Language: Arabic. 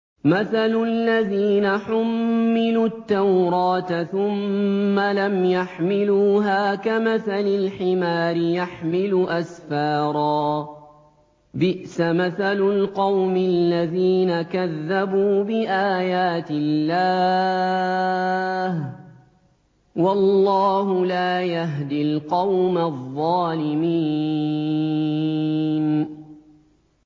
مَثَلُ الَّذِينَ حُمِّلُوا التَّوْرَاةَ ثُمَّ لَمْ يَحْمِلُوهَا كَمَثَلِ الْحِمَارِ يَحْمِلُ أَسْفَارًا ۚ بِئْسَ مَثَلُ الْقَوْمِ الَّذِينَ كَذَّبُوا بِآيَاتِ اللَّهِ ۚ وَاللَّهُ لَا يَهْدِي الْقَوْمَ الظَّالِمِينَ